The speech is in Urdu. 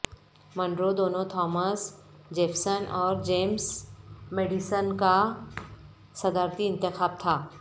منرو دونوں تھامس جیفسنس اور جیمز میڈیسن کا صدارتی انتخاب تھا